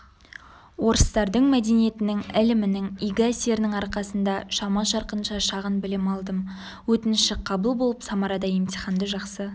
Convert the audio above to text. орыстардың мәдениетінің ілімінің игі әсерінің арқасында шама-шарқынша шағын білім алдым өтініші қабыл болып самарада емтиханды жақсы